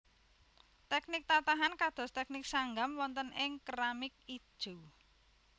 Teknik tatahan kados teknik sanggam wonten ing keramik ijo